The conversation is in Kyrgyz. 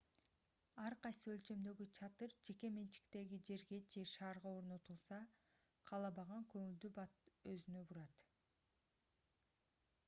ар кайсы өлчөмдөгү чатыр жеке менчиктеги жерге же шаарга орнотулса каалабаган көңүлдү бат өзүнө бурат